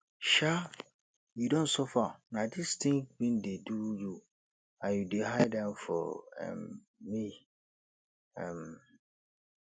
um you don suffer na this thing been dey do you and you dey hide am for um me um